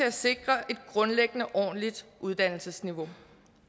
at sikre et grundlæggende ordentligt uddannelsesniveau